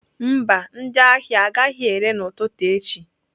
Mba, ndị ahịa agaghị ere n'ụtụtụ echi.